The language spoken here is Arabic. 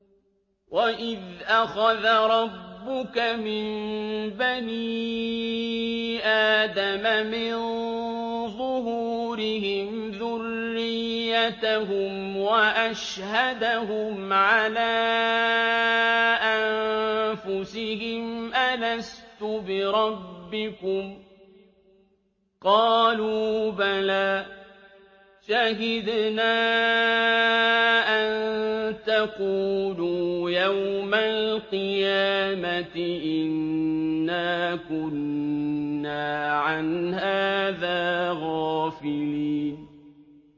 وَإِذْ أَخَذَ رَبُّكَ مِن بَنِي آدَمَ مِن ظُهُورِهِمْ ذُرِّيَّتَهُمْ وَأَشْهَدَهُمْ عَلَىٰ أَنفُسِهِمْ أَلَسْتُ بِرَبِّكُمْ ۖ قَالُوا بَلَىٰ ۛ شَهِدْنَا ۛ أَن تَقُولُوا يَوْمَ الْقِيَامَةِ إِنَّا كُنَّا عَنْ هَٰذَا غَافِلِينَ